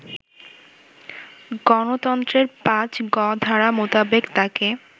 গঠনতন্ত্রের ৫ গ ধারা মোতাবেক তাকে